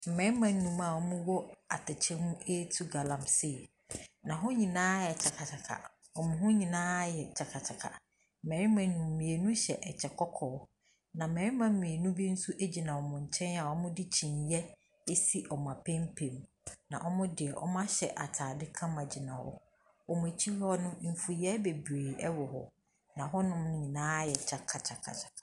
Mmarima nnum a wɔwɔ atɛkyɛ mu retu galamsey, na hɔ nyinaa ayɛ kyakakyaka, wɔn ho nyinaa ayɛ kyakakyaka. Mmarima nnum yi, mmienu hyɛ kyɛ kɔkɔɔ, na mmarima mmienu bi nso gyina wɔn nkyɛn a wɔde kyiniiɛ asi wɔn apampam, na wɔahyɛ atade kama gyina hɔ. Wɔn akyi hɔ no, mfuiɛ bebree wɔ, na hɔnom nyinaa ayɛ kyakakyaka.